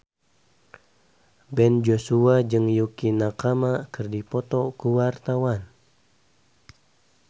Ben Joshua jeung Yukie Nakama keur dipoto ku wartawan